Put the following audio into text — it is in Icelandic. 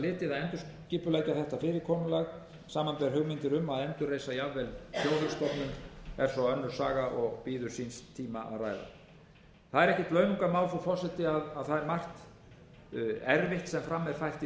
litið að endurskipuleggja þetta fyrirkomulag samanber hugmyndir um að endurreisa jafnvel þjóðhagsstofnun er svo önnur saga og bíður síns tíma að ræða það er ekkert launungarmál frú forseti að það er margt erfitt sem fram er fært í þessu fjárlagafrumvarpi eins og umræður um það